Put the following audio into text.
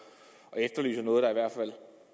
og